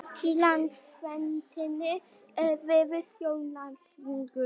í landsveitinni er víður sjóndeildarhringur